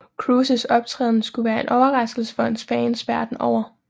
Cruises optræden skulle være en overraskelse for hans fans verdenen over